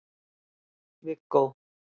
Viggó